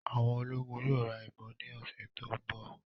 Àwọn ológun yóò ra ìbọn ni ọsẹ tó ń bọ̀